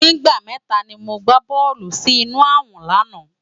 Nigbá mètá ni mó gbá bòlú si inú àwòn làná